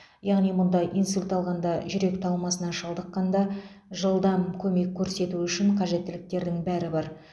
яғни мұнда инсульт алғанда жүрек талмасына шалдыққанда жылдам көмек көрсету үшін қажеттіліктердің бәрі бар